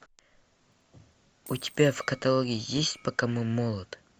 у тебя в каталоге есть пока мы молоды